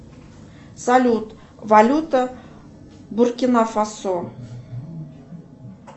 салют валюта буркина фасо